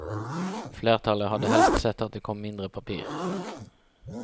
Flertallet hadde helst sett at det kom mindre papir.